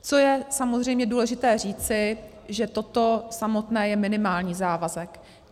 Co je samozřejmě důležité říci, že toto samotné je minimální závazek.